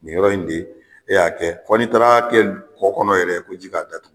Nin yɔrɔ in de ee y'a kɛ fo n'i taar'a kɛ kɔ kɔnɔ yɛrɛ ko ji k'a datugu